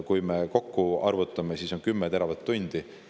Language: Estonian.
Kui me kokku arvutame, siis saame 10 teravatt-tundi.